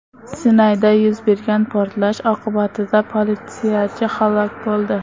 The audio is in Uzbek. Sinayda yuz bergan portlash oqibatida politsiyachi halok bo‘ldi.